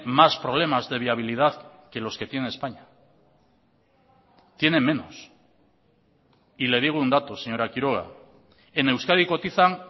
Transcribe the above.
más problemas de viabilidad que los que tiene españa tiene menos y le digo un dato señora quiroga en euskadi cotizan